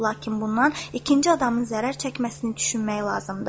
Lakin bundan ikinci adamın zərər çəkməsini düşünmək lazımdır.